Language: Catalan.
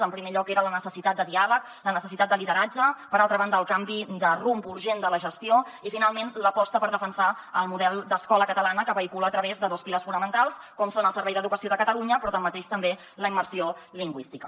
en primer lloc era la necessitat de diàleg la necessitat de lideratge per altra banda el canvi de rumb urgent de la gestió i finalment l’aposta per defensar el model d’escola catalana que es vehicula a través de dos pilars fonamentals com són el servei d’educació de catalunya però tanmateix també la immersió lingüística